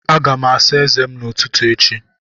Aga m asa eze m n'ụtụtụ echi.